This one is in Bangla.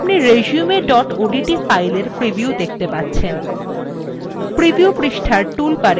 আপনি resume odt file preview দেখতে পাচ্ছেন